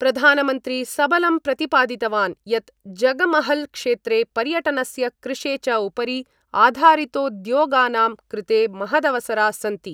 प्रधानमंत्री सबलं प्रतिपादितवान् यत् जगमहल क्षेत्रे पर्यटनस्य कृषे च उपरि आधारितोद्योगानां कृते महदवसरा सन्ति।